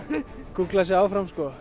gúglað sig áfram sko